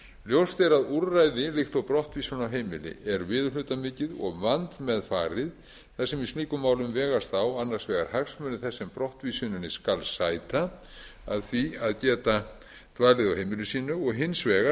ljóst er að úrræði líkt og brottvísun af heimili er viðurhlutamikið og vandmeðfarið þar sem í slíkum málum vegast á annars vegar hagsmunir þess sem brottvísuninni skal sæta af því að geta dvalið á heimili sínu og hins vegar